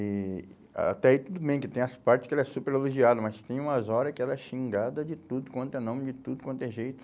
E até aí tudo bem que tem as partes que ela é super elogiada, mas tem umas horas que ela é xingada de tudo quanto é nome, de tudo quanto é jeito.